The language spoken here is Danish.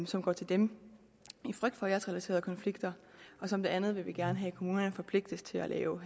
som går til dem i frygt for æresrelaterede konflikter og som det andet vil vi gerne have at kommunerne forpligtes til at lave